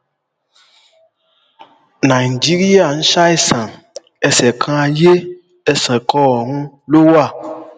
nàìjíríà ń ṣàìsàn ẹsẹkanayé ẹsẹkanọrun ló wà